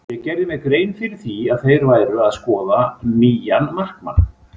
Ég gerði mér grein fyrir því að þeir væru að skoða nýjan markmann.